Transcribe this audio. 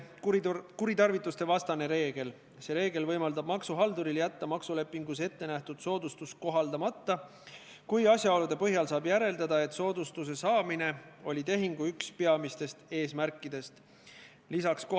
Kui me täna eelnõu 47 teise lugemise katkestame, siis me ei takista kuidagi eelnõu algatajatel saavutamast eesmärki võtta Euroopa Liidu direktiivi nõuded Eesti õigusesse üle 21. detsembriks s.